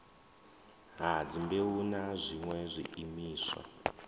ha dzimbeu na zwiṋwe zwiimiswa